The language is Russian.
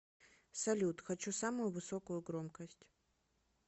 салют хочу самую высокую громкость